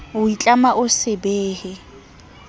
o itlama ho se behe